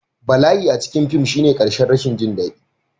Bala'i a cikin fim shine ƙarshen rashin jin daɗi